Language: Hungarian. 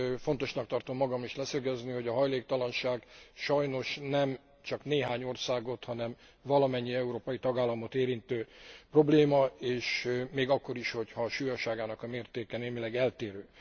Fontosnak tartom magam is leszögezni, hogy a hajléktalanság sajnos nem csak néhány országot, hanem valamennyi európai tagállamot érintő probléma még akkor is, ha a súlyosságának a mértéke némileg eltérő.